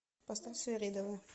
поставь свиридова